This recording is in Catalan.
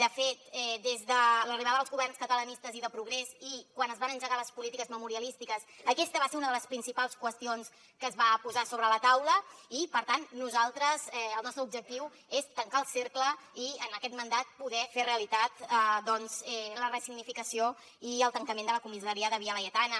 de fet des de l’arribada dels governs catalanistes i de progrés i quan es van engegar les polítiques memorialístiques aquesta va ser una de les principals qüestions que es va posar sobre la taula i per tant el nostre objectiu és tancar el cercle i en aquest mandat poder fer realitat doncs la ressignificació i el tancament de la comissaria de via laietana